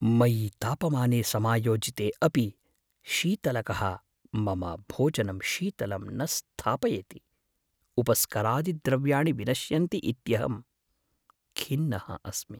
मयि तापमाने समायोजयिते अपि शीतलकः मम भोजनं शीतलं न स्थापयति, उपस्करादिद्रव्याणि विनश्यन्ति इत्यहं खिन्नः अस्मि।